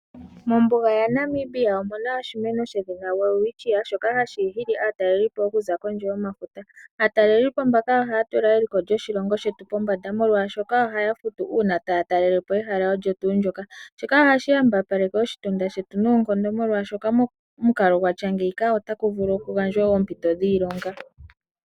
Mombuga yaNamibia omuna oshimeno shedhina Welwitchia shoka hashi nana aatalelipo okuza kondje yomafuta. Aatalelipo mbaka ohaya tula eliko lyoshilongo shetu pombanda molwaashoka ohaya futu uuna taya talelepo ehala olyo tuu ndyoka. Shika ohashi yambapaleke oshitunda shetu noonkondo molwaashoka momukalo gwatya ngeyika ota ku vulu kugandjwe woo oompito dhiilonga.